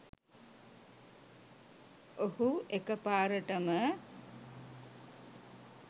ඔහු එකපාරටම